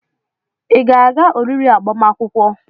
Ị ga-aga oriri agbamakwụkwọ?